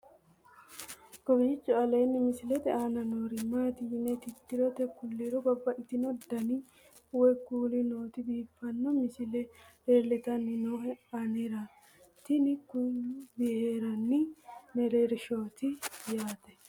kowiicho aleenni misilete aana noori maati yine titire kulliro babaxino dani woy kuuli nooti biiffanno misile leeltanni nooe anera tino kuni booharanni mereershshaati yaate